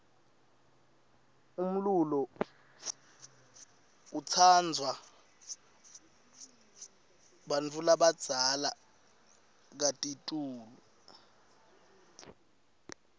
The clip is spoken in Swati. umlulo utsansvwa bantfulabaza kakitulu